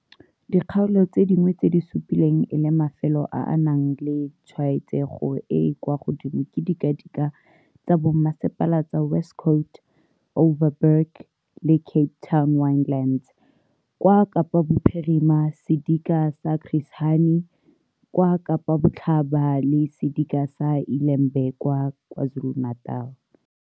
Dikgaolo tse dingwe tse di supilweng e le mafelo a a nang le tshwaetsego e e kwa godimo ke didika tsa bommasepala tsa West Coast, Overberg le Cape Winelands kwa Kapa Bophirima, sedika sa Chris Hani kwa Kapa Botlhaba, le sedika sa iLembe kwa KwaZulu-Natal.